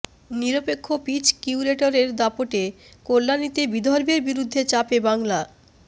নিরপেক্ষ পিচ কিউরেটরের দাপটে কল্যাণীতে বিদর্ভের বিরুদ্ধে চাপে বাংলা